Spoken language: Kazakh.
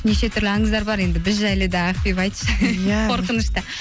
неше түрлі аңыздар бар енді біз жайлы да ақбибі айтшы иә қоқынышты